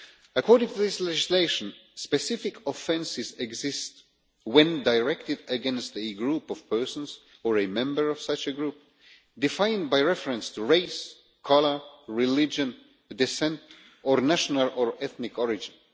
According to this legislation specific offences exist when directed against a group of persons, or a member of such a group, defined by reference to race, colour, religion, descent or national or ethnic origin.